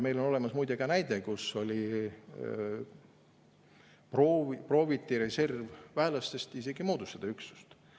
Meil on olemas muide ka näide, et prooviti reservväelastest isegi üksust moodustada.